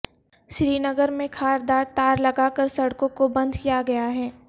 سری نگر میں خاردار تار لگا کر سڑکوں کو بند کیا گیا ہے